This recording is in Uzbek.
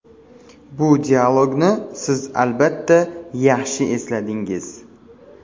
Bu dialogni siz, albatta, yaxshi esladingiz.